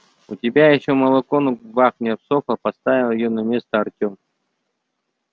у тебя ещё молоко на губах не обсохло поставил её на место артем